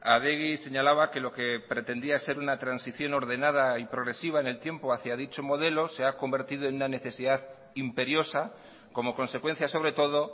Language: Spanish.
adegi señalaba que lo que pretendía ser una transición ordenada y progresiva en el tiempo hacia dicho modelo se ha convertido en una necesidad imperiosa como consecuencia sobre todo